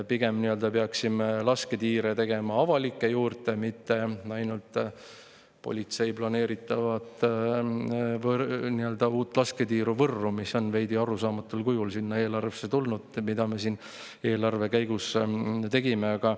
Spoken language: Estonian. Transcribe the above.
Pigem peaksime tegema juurde avalikke lasketiire, mitte ainult politsei planeeritavat uut lasketiiru Võrru, mis on veidi arusaamatul kujul sinna eelarvesse siin eelarve tegemise käigus.